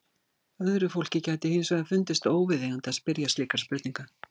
Öðru fólki gæti hins vegar fundist óviðeigandi að spyrja slíkra spurninga.